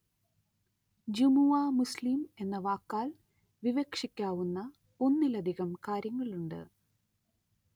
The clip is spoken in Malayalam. ജുമുഅ മുസ്ലിം എന്ന വാക്കാല്‍ വിവക്ഷിക്കാവുന്ന ഒന്നിലധികം കാര്യങ്ങളുണ്ട്